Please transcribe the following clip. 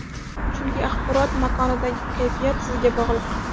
Chunki axborot makonidagi kayfiyat sizga bog‘liq.